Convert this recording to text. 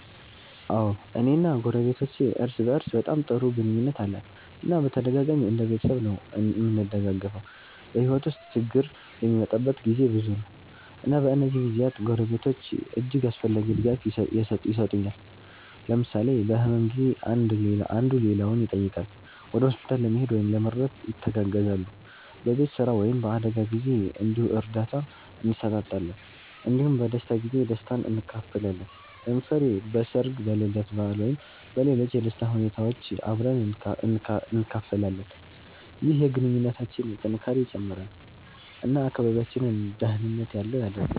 አዎ፣ እኔ እና ጎረቤቶቼ እርስ በእርስ በጣም ጥሩ ግንኙነት አለን እና በተደጋጋሚ እንደ ቤተሰብ ነዉ እምንደጋገፈዉ። በሕይወት ውስጥ ችግር የሚመጣበት ጊዜ ብዙ ነው፣ እና በእነዚህ ጊዜያት ጎረቤቶች እጅግ አስፈላጊ ድጋፍ የሰጡኛል። ለምሳሌ በህመም ጊዜ አንዱ ሌላውን ይጠይቃል፣ ወደ ሆስፒታል ለመሄድ ወይም ለመርዳት ይተጋገዛሉ። በቤት ስራ ወይም በአደጋ ጊዜ እንዲሁ እርዳታ እንሰጣጣለን እንዲሁም በደስታ ጊዜ ደስታን እንካፈላለን። ለምሳሌ በሠርግ፣ በልደት በዓል ወይም በሌሎች የደስታ ሁኔታዎች አብረን እንካፈላለን። ይህ የግንኙነታችንን ጥንካሬ ይጨምራል እና አካባቢያችንን ደህንነት ያለው ያደርገዋል።